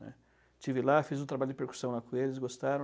né. Estive lá, fiz um trabalho de percussão lá com eles, gostaram.